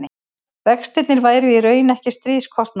vextirnir væru í raun ekki stríðskostnaður